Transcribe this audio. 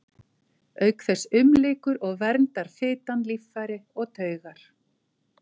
Auk þess umlykur og verndar fitan líffæri og taugar.